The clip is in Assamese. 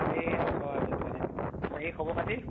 এই আছো আৰু যেনে তেনে, বাকী খবৰ খাতি?